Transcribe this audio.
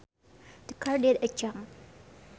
The car did a jump